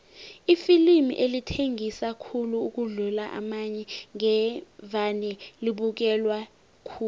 iflimu elithengisa khulu ukudlula amanye ngevane libukelwe khulu